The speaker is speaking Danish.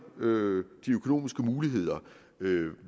de økonomiske muligheder